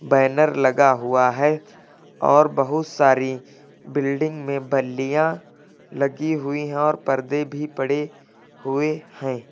Banner लगा हुआ है और बहुत सारी बिल्डिंग में बल्लियां लगी हुई हैं और पर्दे भी पड़े हुए हैं।